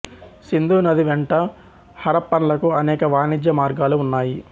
సింధు నది వెంట హరప్పన్లకు అనేక వాణిజ్య మార్గాలు ఉన్నాయి